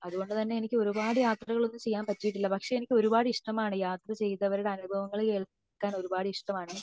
അത്കൊണ്ട് തന്നെ എനിക്ക് ഒരുപാട് യാത്രകൾ ഒന്നും ചെയ്യാൻ പറ്റിയിട്ടില്ല പക്ഷെ എനിക്ക് ഒരുപാട് ഇഷ്ടമാണ് യാത്ര ചെയ്തവരുടെ അനുഭവങ്ങൾ കേൾക്കാൻ ഒരുപാട് ഇഷ്ടമാണ്